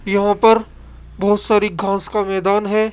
यहां पर बहोत सारी घास का मैदान है